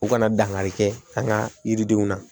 U kana dankari kɛ an ka yiridenw na